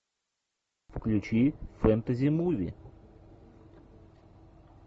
включи фэнтези муви